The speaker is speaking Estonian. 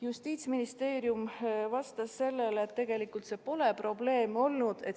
Justiitsministeerium vastas sellele, et tegelikult see pole probleem olnud.